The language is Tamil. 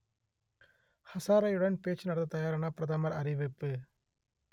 ஹசாரேயுடன் பேச்சு நடத்தத் தயாரென பிரதமர் அறிவிப்பு